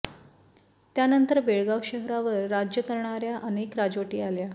त्यानंतर बेळगाव शहरावर राज्य करणार्या अनेक राजवटी आल्या